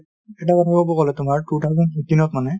এটা কথা ক'ব গ'লে তোমাৰ two thousand fifteen ত মানে ,